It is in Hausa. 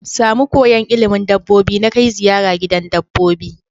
Samu koyan ilimin dabbobi na Kai ziyara gidan dabbobi